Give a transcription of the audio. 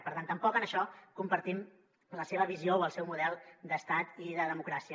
per tant tampoc en això compartim la seva visió o el seu model d’estat i de democràcia